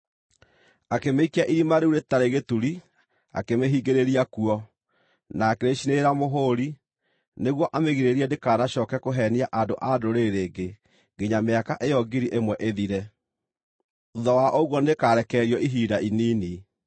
Akĩmĩikia Irima rĩu-Rĩtarĩ-Gĩturi, akĩmĩhingĩrĩria kuo, na akĩrĩcinĩrĩra mũhũri, nĩguo amĩgirĩrĩrie ndĩkanacooke kũheenia andũ a ndũrĩrĩ rĩngĩ nginya mĩaka ĩyo ngiri ĩmwe ĩthire. Thuutha wa ũguo nĩĩkarekererio ihinda inini.